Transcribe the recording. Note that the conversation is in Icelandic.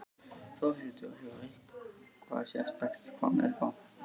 Þórhildur: Hefur eitthvað sérstakt komið upp á?